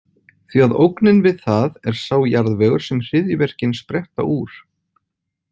Því að ógnin við það er sá jarðvegur sem hryðjuverkin spretta úr.